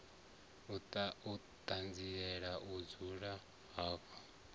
i ṱanzielaho u dzula havho